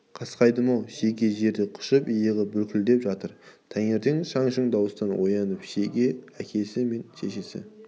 қасқайдым-ау шеге жерді құшып иығы бүлкілдеп жатыр таңертең шаң-шүң дауыстан оянды шеге әкесі мен шешесі